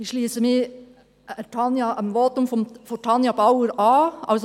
Ich schliesse mich dem Votum von Tanja Bauer an.